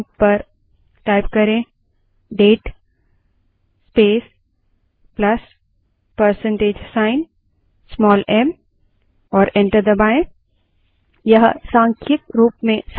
prompt पर date space plus percentage sign small m type करें और enter दबायें